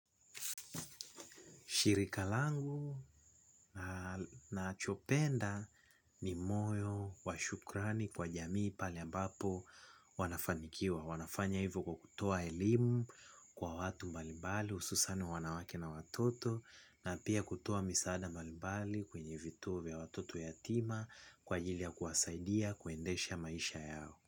Shirika langu na nachopenda ni moyo wa shukrani kwa jamii pale ambapo wanafanikiwa. Wanafanya hivyo kwa kutoa elimu kwa watu mbalimbali hususan wanawake na watoto na pia kutoa misaada mbalimbali kwenye vituo vya watoto yatima kwa jili ya kuwasaidia kuendesha maisha yao.